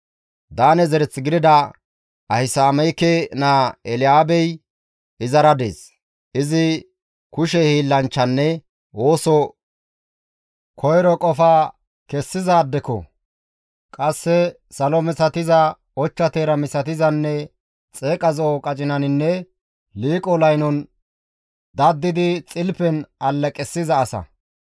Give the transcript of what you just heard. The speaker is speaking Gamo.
Daane zereth gidida Ahisaameke naa Eelaabey izara dees; izi kushe hiillanchchanne oosos koyro qofa kessizaadeko; qasse salo misatiza, ochcha teera misatizanne xeeqa zo7o qacinaninne liiqo laynon dadidi xilpen alleqissiza asa.